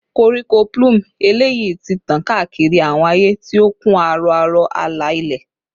Koriko plume eleyi ti tan kaakiri awọn aaye, ti o kun aro aro ala-ilẹ